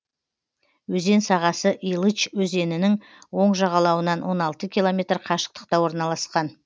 өзен сағасы илыч өзенінің оң жағалауынан он алты километр қашықтықта орналасқан